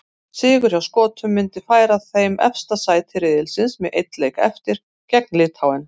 Sigur hjá Skotum myndi færa þeim efsta sæti riðilsins með einn leik eftir, gegn Litháen.